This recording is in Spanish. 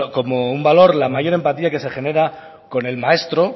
como un valor la mayor empatía que se genera con el maestro